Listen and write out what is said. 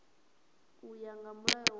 u ya nga mulayo wa